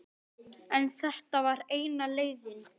En þetta var eina leiðin.